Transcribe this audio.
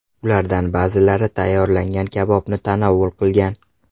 Ulardan ba’zilari tayyorlangan kabobni tanovul qilgan.